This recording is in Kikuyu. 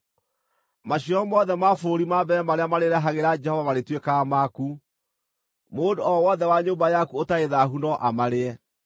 Maciaro mothe ma bũrũri ma mbere marĩa marĩrehagĩra Jehova marĩtuĩkaga maku. Mũndũ o wothe wa nyũmba yaku ũtarĩ thaahu no amarĩe.